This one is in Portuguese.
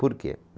Por quê?